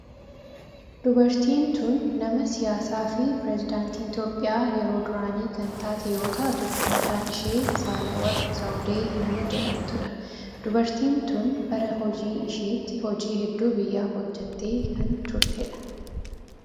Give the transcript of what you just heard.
Dubartiin tun nama siyaasaa fi pireesidaantii Itiyoophiyaa yeroo duraanii kan taate yoo taatu maqaan ishee Sahaaleweerqi Zawudee nama jedhamtudha. Dubartiin tun bara hojii isheetti hojii hedduu biyyaaf hojjettee kan turtedha.